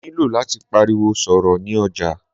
Mó nilò láti pariwo sọ̀rọ̀ ni ọjà.